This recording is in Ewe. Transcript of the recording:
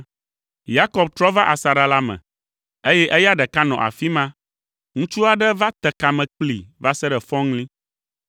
Yakob trɔ va asaɖa la me, eye eya ɖeka nɔ afi ma. Ŋutsu aɖe te kame kplii va se ɖe fɔŋli.